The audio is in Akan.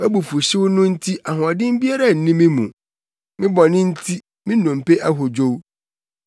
Wʼabufuwhyew no nti ahoɔden biara nni me mu; me bɔne nti, me nnompe ahodwow.